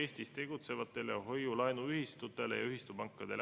Aitäh!